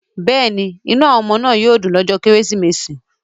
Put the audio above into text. Yes, the children will be happy on Christmas day